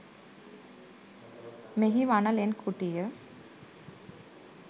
මෙහි වන ලෙන් කුටිය